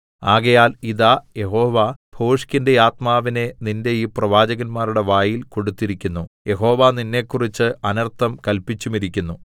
ആകയാൽ ഇതാ യഹോവ ഭോഷ്കിന്റെ ആത്മാവിനെ നിന്റെ ഈ പ്രവാചകന്മാരുടെ വായിൽ കൊടുത്തിരിക്കുന്നു യഹോവ നിന്നെക്കുറിച്ച് അനർത്ഥം കല്പിച്ചുമിരിക്കുന്നു